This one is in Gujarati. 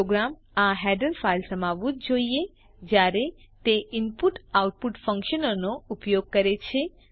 પ્રોગ્રામ આ હેડર ફાઈલ સમાવવું જ જોઈએ જયારે તે ઇનપુટઆઉટપુટ ફ્ન્ક્શનોનો ઉપયોગ કરે છે